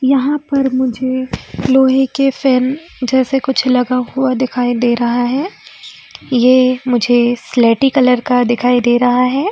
यहां पर मुझे लोहे का फैन जैसे लगा हुआ कुछ दिखाई दे रहा है ये मुझे स्लेटी कलर का दिखाई दे रहा है।